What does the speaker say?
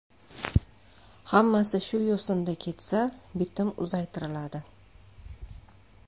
Hammasi shu yo‘sinda ketsa, bitim uzaytiriladi.